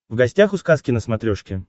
в гостях у сказки на смотрешке